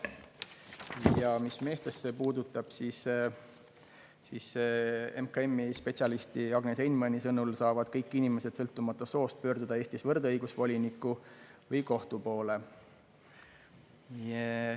Ja mis meestesse puutub, siis MKM-i spetsialisti Agnes Einmani sõnul saavad kõik inimesed, sõltumata soost, pöörduda Eestis võrdõigusvoliniku või kohtu poole.